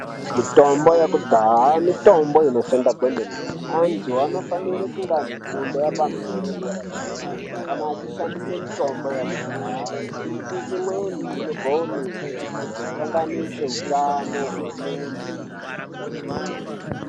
Mitombo yekudhahaa, mitombo inoshanda kwemene, anthu anofanira kunge nefundo yepamusoro yederadera kana achishandisa mitombo yekudhahaa nekuti imweni inogone kuzokanganisa utano hwemunthu.